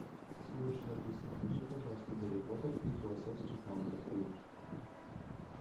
слушай алиса включи пожалуйста гарри поттер и философский камень фильм